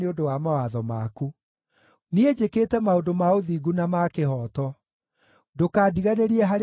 Niĩ njĩkĩte maũndũ ma ũthingu na ma kĩhooto; ndũkandiganĩrie harĩ arĩa maahinyagĩrĩria.